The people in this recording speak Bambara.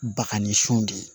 Bakan ni son de ye